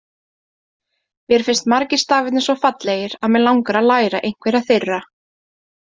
Mér finnst margir stafirnir svo fallegir að mig langar að læra einhverja þeirra!